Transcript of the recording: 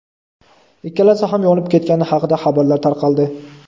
ikkalasi ham yonib ketgani haqida xabarlar tarqaldi.